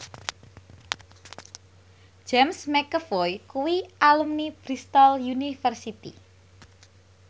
James McAvoy kuwi alumni Bristol university